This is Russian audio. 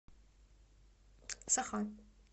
саха